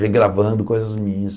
Regravando coisas minhas.